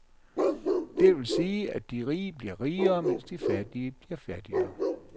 Det vil sige, de rige bliver rigere, mens de fattige bliver fattigere.